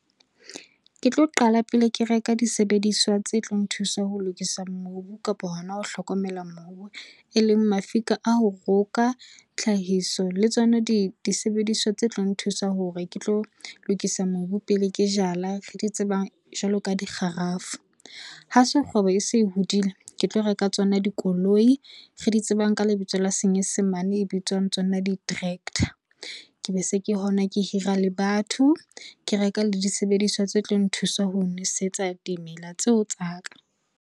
Ke tlo qala pele ke reka disebediswa tse tlo nthusa ho lokisa mobu kapa hona ho hlokomela mobu e leng mafika a ho roka, tlhahiso le tsona disebediswa tse tlo nthusa hore ke tlo lokisa mobu pele ke jala re di tsebang jwalo ka di kgarafu. Ha se kgwebo e se e hodile, ke tlo reka tsona dikoloi re di tsebang ka lebitso la Senyesemane e bitswang tsona di-tractor. Ke be se ke hona ke hira le batho, ke reka le disebediswa tse tlo nthusa ho nosetsa dimela tseo tsa ka.